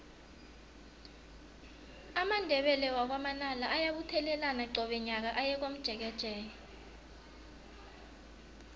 amandebele wakwa manala ayabuthelana qobe nyaka aye komjekejeke